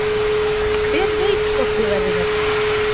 Hver veit hvort ég verði hérna lengi?